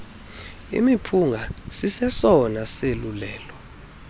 imiphunga sisesona sosulela